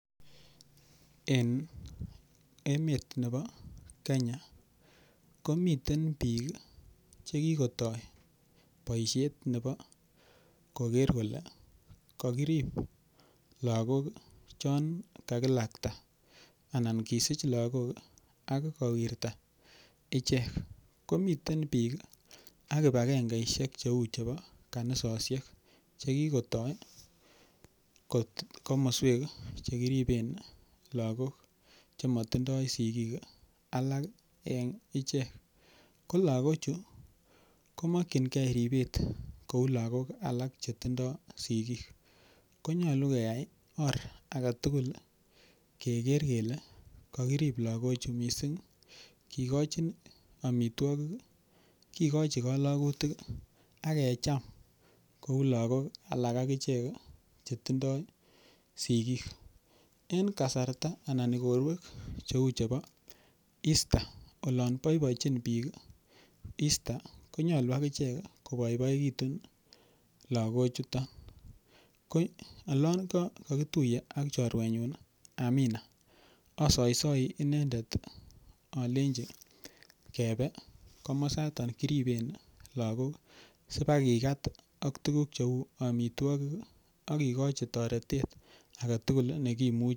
Eng emet nebo Kenya komiten biik chekikotoi boishet nebo koker kole kokirip lakok chon kakilakta anan kisich lakok ak kowirta ichek komiten biik ak kibakenge ishek cheu chebo kanisoshek chekikotoi komoswek chekiriben lakok chematindoi sikiik alak eng ichek ko lakok chu komokchingei ripet kou lakok alak chetindoi sikiik konyolu koyai or agetugul keker kele kakirip lakok chu mising kikochin amitwokik kikochi kolokutik ak kecham kou lakok alak akichek chetindoi sikiik eng kasarta anan ikorwek cheu chebo Easter olon boibochin biik Easter konyolu akichek koboiboitun lakochuto ko olon kakituye ak chorwenyu Amina asoisoi inendet alenji kebe komosata kiriben lakok sibakikat ak tukuk cheu amitwokik akikochi toretet aketukul nekimuchi.